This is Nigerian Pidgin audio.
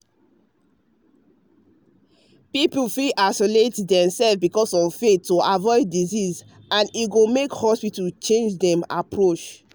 people fit isolate themselves because of faith to avoid disease and e go make hospitals change dem approach.